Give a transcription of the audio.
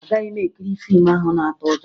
Agaghị m ekiri fiimu ahụ na-atụ ụjọ